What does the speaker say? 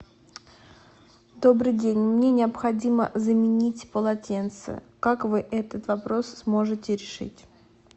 добрый день мне необходимо заменить полотенце как вы этот вопрос сможете решить